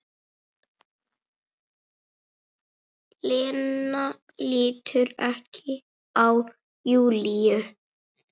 Lena lítur ekki á Júlíu.